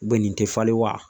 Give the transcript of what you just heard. nin tɛ falen wa ?